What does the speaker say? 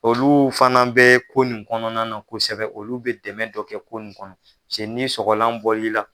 Olu fana be ko nin kɔnɔna na kosɛbɛ olu be dɛmɛ dɔ kɛ ko nin kɔnɔ pase n'i sɔgɔlan bɔl'i la